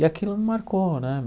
E aquilo me marcou, né?